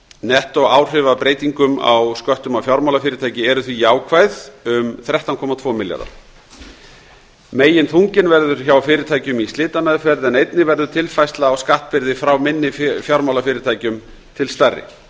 nettóáhrif af breytingum á sköttum á fjármálafyrirtæki eru því jákvæð um þrettán komma tvö milljarða meginþunginn verður hjá fyrirtækjum í slitameðferð en einnig verður tilfærsla á skattbyrði frá minni fjármálafyrirtækjum til stærri